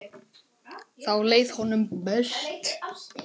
Þá leið honum best.